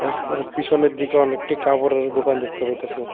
পিছনের দিকে অনেকটি কাপড়ের দোকান দেখতে পাইতাছি।